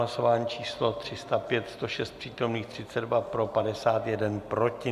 Hlasování číslo 305, 106 přítomných, 32 pro, 51 proti.